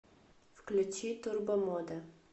включи турбомода